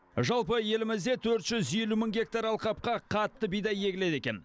жалпы елімізде төрт жүз елу мың гектар алқапқа қатты бидай егіледі екен